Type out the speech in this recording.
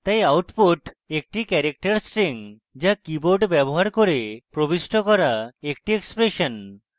তাই output একট character string so keyboard ব্যবহার করে প্রবিষ্ট করা একটি expression